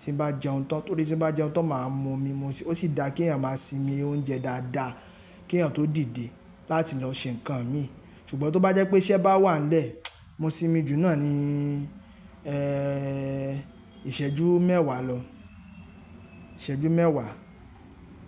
tí bá jẹun tán, torí tí n bá jẹun tán máa mu omi, mo sì-- ó sì dá kí èèyàn máa sinmi oúnjẹ dáadáa, kí èèyàn tó dìde láti lọ ṣe nǹkan mi. Ṣùgbọ́n tó bá jẹ́ pé iṣẹ́ bá wà nlẹ, mo sinmi jù náà ni, eh, ìṣẹ́jú mẹ́wàá lọ, ìṣẹ́jú mẹ́wàá.